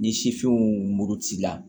Ni sifinw mugu ci la